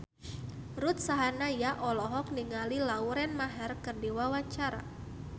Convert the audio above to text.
Ruth Sahanaya olohok ningali Lauren Maher keur diwawancara